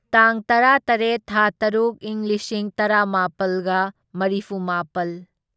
ꯇꯥꯡ ꯇꯔꯥꯇꯔꯦꯠ ꯊꯥ ꯇꯔꯨꯛ ꯢꯪ ꯂꯤꯁꯤꯡ ꯇꯔꯥꯃꯥꯄꯜꯒ ꯃꯔꯤꯐꯨꯃꯥꯄꯜ